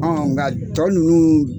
An ka tɔ ninnu